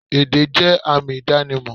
Èdè jẹ́ àmì ìdánimọ̀